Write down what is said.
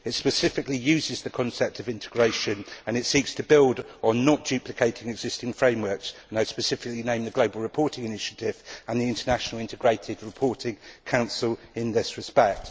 It specifically uses the concept of integration and seeks to build on not duplicating existing frameworks. I would specifically name the Global Reporting Initiative and the International Integrated Reporting Council in this respect.